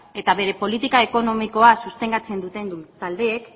eta bere politika ekonomikoa sustengatzen duten taldeek